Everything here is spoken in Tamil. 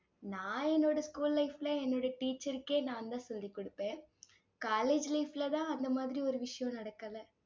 நான் என்னோட school life ல என்னோட teacher க்கே நான்தான் சொல்லிக்கொடுப்பேன். college life லதான் அந்த மாதிரி ஒரு விஷயம் நடக்கலை